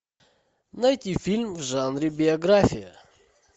найти фильм в жанре биография